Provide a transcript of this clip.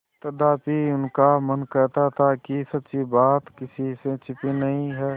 तथापि उनका मन कहता था कि सच्ची बात किसी से छिपी नहीं है